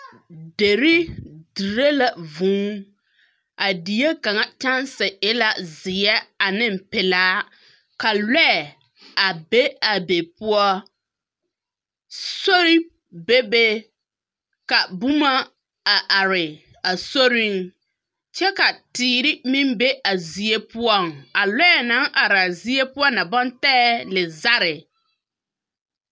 Derri dire la vũũ. A die kaŋa kyanse e la zeԑ aneŋ pelaa. ka lͻԑ a be a be poͻ. Sori bebe ka boma a are a soriŋ kyԑ ka teere meŋ be a zie poͻŋ. A lͻԑ naŋ araa zie poͻ na baŋ taԑ lizare.